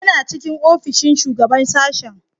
Yana cikin ofishin Shugaban Sashen.